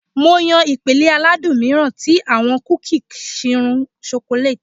Mo n yan ipele aladun miiran ti awọn kuki chirún chocolate.